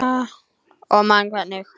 Og man hvernig